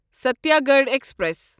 Satyagraha express